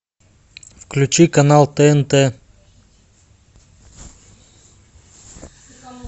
включи канал тнт